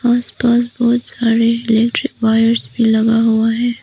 पास पास बहुत सारे इलेक्ट्रिक वायर भी लगा हुआ है।